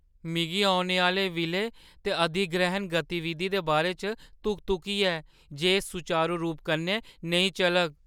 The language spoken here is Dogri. में औने आह्‌ले विलय ते अधिग्रैह्‌ण गतिविधि दे बारे च धुक-धुकी ऐ जे एह् सुचारू रूप कन्नै नेईं चलग।